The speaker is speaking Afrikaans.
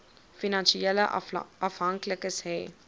finansiële afhanklikes hê